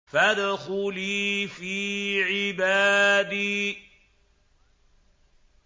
فَادْخُلِي فِي عِبَادِي